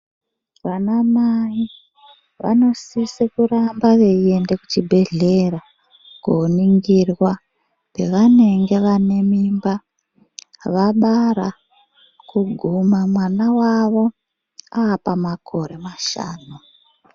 Vanamai vanosise kuramba veienda kuchibhehlera koningirwa pavanenge vanemimba, vabara kuguma mwana wavo apamakore mashanu.